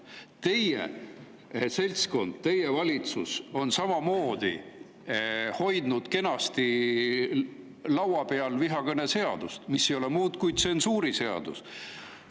Teie seltskond, teie valitsus on kenasti laua peal hoidnud vihakõneseadust, mis ei ole muud kui tsensuuriseadus.